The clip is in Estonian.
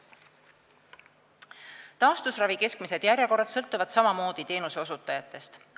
Taastusravi keskmised järjekorrad sõltuvad samamoodi teenuseosutajatest.